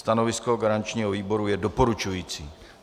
Stanovisko garančního výboru je doporučující.